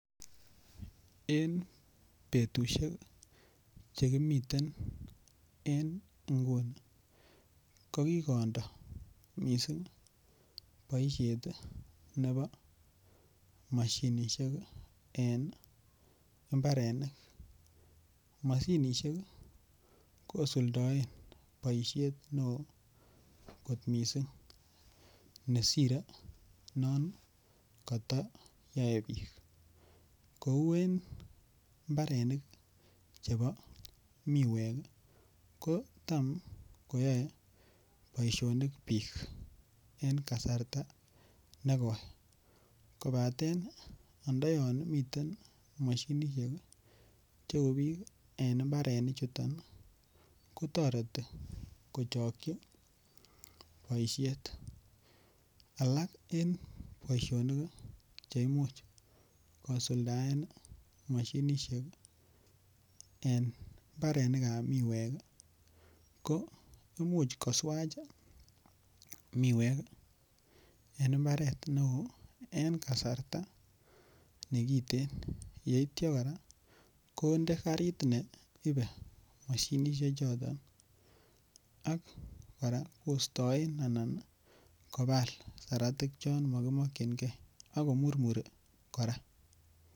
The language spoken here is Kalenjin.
En betushek chekimiten en inguni kokikondo missing' boishet ii nebo moshinishek en imbarenik, moshinishek kosuldoen boishet neo kot missing' nesire non koyoyoe bij kou en imbarenik chebo miwek ii kotam koyoe boishonik bik en kasarta nekoi, kobaten ondoyon miten moshinishek cheu bij en inbarenichuton ii kotoreti kochokchi boishet, alak en boisionik cheimuch kosuldaen moshinishek en imbarenikab miwek ii koimuch koswach miwek en imbaret neo en kasarta nekiten yeitio koraa konde karit neibe moshinishechoton ak koraa kostoen anan kobal saratik chon mokimokyingee ak komurmuri koraa.